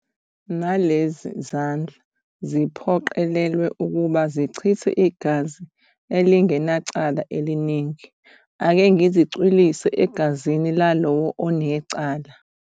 Nalezi zandla, ziphoqelelwe ukuba zichithe igazi elingenacala eliningi, ake ngizicwilise egazini lalowo onecala.